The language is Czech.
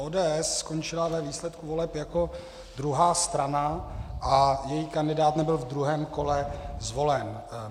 ODS skončila ve výsledku voleb jako druhá strana a její kandidát nebyl v druhém kole zvolen.